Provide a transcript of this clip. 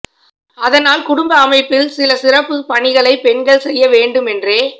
அதனால் குடும்ப அமைப்பில் சில சிறப்புப் பணிகளைப் பெண்கள் செய்ய வேண்டும் என்றே